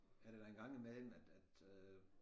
Er det da en gang imellem at at øh